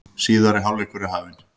Síðari hálfleikur er hafinn